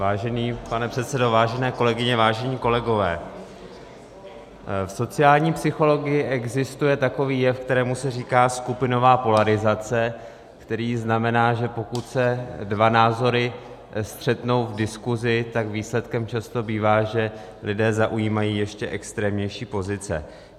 Vážený pane předsedo, vážené kolegyně, vážení kolegové, v sociální psychologii existuje takový jev, kterému se říká skupinová polarizace, který znamená, že pokud se dva názory střetnou v diskusi, tak výsledkem přesto bývá, že lidé zaujímají ještě extrémnější pozice.